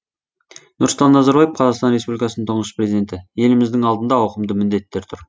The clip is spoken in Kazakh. нұрсұлтан назарбаев қазақстан республикасының тұңғыш президенті еліміздің алдында ауқымды міндеттер тұр